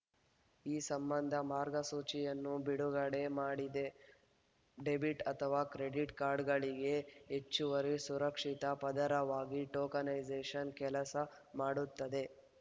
ಈ ಸಂಬಂಧ ಮಾರ್ಗಸೂಚಿಯನ್ನು ಬಿಡುಗಡೆ ಮಾಡಿದೆ ಡೆಬಿಟ್‌ ಅಥವಾ ಕ್ರೆಡಿಟ್‌ ಕಾರ್ಡ್‌ಗಳಿಗೆ ಹೆಚ್ಚುವರಿ ಸುರಕ್ಷಿತಾ ಪದರವಾಗಿ ಟೋಕನೈಸೇಷನ್‌ ಕೆಲಸ ಮಾಡುತ್ತದೆ